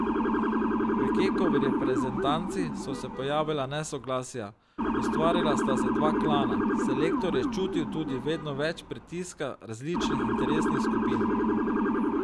V Kekovi reprezentanci so se pojavila nesoglasja, ustvarila sta se dva klana, selektor je čutil tudi vedno več pritiska različnih interesnih skupin.